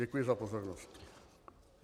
Děkuji za pozornost.